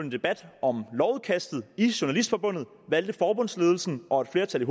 debat om lovudkastet i journalistforbundet valgte forbundsledelsen og et flertal i